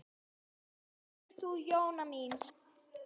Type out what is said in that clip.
Hvað segir þú, Jóna mín?